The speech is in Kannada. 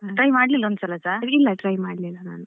Try ಮಾಡ್ಲಿಲ್ವಾ ಒಂದು ಸಲಸಾ?